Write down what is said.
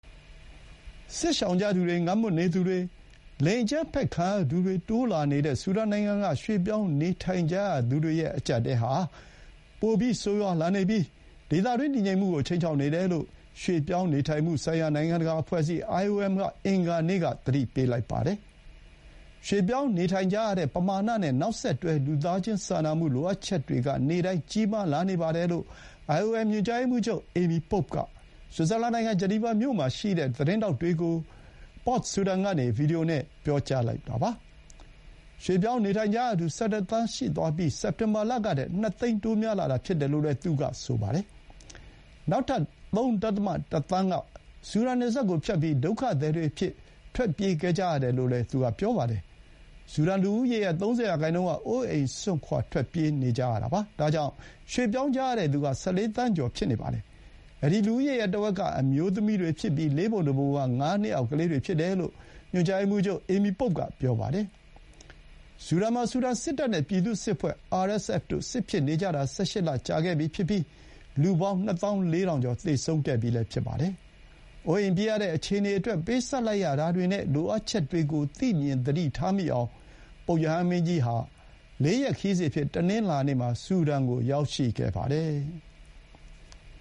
စစ်ရှောင်လာသူတွေ၊ ငတ်မွတ်နေသူတွေ၊ လိင်အကြမ်းဖက်ခံရသူတွေတိုးလာနေတဲ့ ဆူဒန်နိုင်ငံက ရွှေ့ပြောင်းနေထိုင်ကြရသူတွေရဲ့အကြပ်အတည်းဟာ ပိုမိုဆိုးရွားလာနေပြီး ဒေသတွင်းတည်ငြိမ်မှုကို ခြိမ်းခြောက်နေတယ်လို့ ရွှေ့ပြောင်းနေထိုင်မှုဆိုင်ရာ နိုင်ငံတကာအဖွဲ့အစည်း IOM က အင်္ဂါနေ့က သတိပေးလိုက်ပါတယ်။ ရွှေ့ပြောင်းနေထိုင်ကြရတဲ့ပမာဏနဲ့ နောက်ဆက်တွဲ လူသားချင်းစာနာမှုလိုအပ်ချက်တွေက နေ့တိုင်း ကြီးမားလာနေပါတယ်လို့ IOM ညွှန်ကြားရေးမှူးချုပ် Amy Pope က ဆွစ်ဇာလန်နိုင်ငံ ဂျနီဗာမြို့မှာ ရှိတဲ့ သတင်းထောက်တွေကို Port Sudanကနေ ဗွီဒီယိုနဲ့ ပြောပါတယ်။ ရွှေ့ပြောင်းနေထိုင်ကြရသူ ၁၁ သန်း ရှိသွားပြီး စက်တင်ဘာလကထက် ၂ သိန်း တိုးလာတာဖြစ်တယ်လို့ သူက ပြောပါတယ်။ နောက်ထပ် ၃.၁ သန်းက ဆူဒန်နယ်စပ်ကိုဖြတ်ပြီး ဒုက္ခသည်တွေအဖြစ်ထွက်ပြေး ခဲ့ကြရတယ်လို့လည်း ဆိုပါတယ်။ ဆူဒန်လူဦးရေရဲ့ ၃၀ ရာနှုန်းက အိုးအိမ်စွန့်ခွါ ထွက်ပြေးသွားကြရတာပါ။ ဒါကြောင့် ရွှေ့ပြောင်းကြရတဲ့ သူက ၁၄ သန်းကျော်ပါ။ အဲဒီ လူဦးရေရဲ့ တဝက်က အမျိုးသမီးတွေဖြစ်ပြီး လေးပုံတပုံက ငါးနှစ်အောက် ကလေးတွေဖြစ်တယ်လို့ ညွှန်ချုပ် Amy Pope က ပြောပါတယ်။ ဆူဒန်မှာ ဆူဒန်စစ်တပ်နဲ့ ပြည်သူ့စစ်အဖွဲ့ RSF တို့ စစ်ဖြစ်နေကြတာ ၁၈ လကြာခဲ့ပြီဖြစ်ပြီး လူပေါင်း ၂၄,၀၀၀ ကျော် သေဆုံးခဲ့ပြီးဖြစ်ပါတယ်။ အိုးအိမ်ပစ်ရတဲ့အခြေအနေအတွက် ပေးဆပ်လိုက်ရတာတွေနဲ့ လိုအပ်ချက်တွေကို သိမြင်သတိထားမိအောင် ပုပ်ရဟန်းမင်းကြီးဟာ ၄ ရက်ခရီးစဥ်အဖြစ် တနင်္လာနေ့မှာ ဆူဒန်ကိုရောက်ရှိလာပါတယ်။